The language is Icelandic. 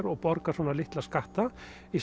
og borga svona litla skatta